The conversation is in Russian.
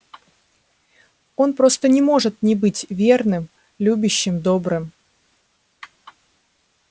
он просто не может не быть верным любящим добрым